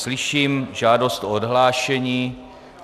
Slyším žádost o odhlášení.